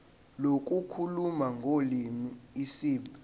lokukhuluma ngolimi isib